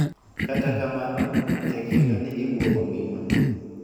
Kata kamano, tek yudo ni gibuogo ngima.